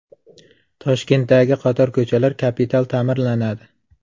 Toshkentdagi qator ko‘chalar kapital ta’mirlanadi.